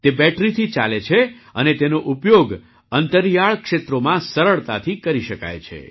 તે બેટરીથી ચાલે છે અને તેનો ઉપયોગ અંતરિયાળ ક્ષેત્રોમાં સરળતાથી કરી શકાય છે